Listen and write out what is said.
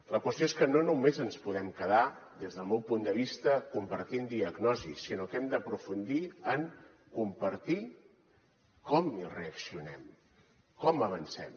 la qüestió és que no només ens podem quedar des del meu punt de vista compartint diagnosi sinó que hem d’aprofundir en compartir com hi reaccionem com avancem